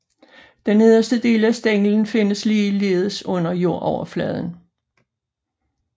Den nederste del af stænglen findes ligeledes under jordoverfladen